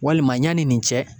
Walima yanni nin cɛ